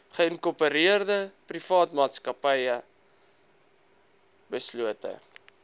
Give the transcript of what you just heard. geïnkorpereerde privaatmaatsappy beslote